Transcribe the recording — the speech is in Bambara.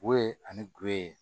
Wo ye ani guwe ye